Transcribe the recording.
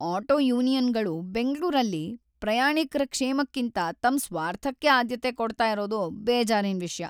Auto ಯೂನಿಯನ್ಗಳು ಬೆಂಗ್ಳೂರಲ್ಲಿ ಪ್ರಯಾಣಿಕ್ರ ಕ್ಷೇಮಕ್ಕಿಂತ ತಮ್ ಸ್ವಾರ್ಥಕ್ಕೇ ಆದ್ಯತೆ ಕೊಡ್ತಾ ಇರೋದು ಬೇಜಾರಿನ್‌ ವಿಷ್ಯ.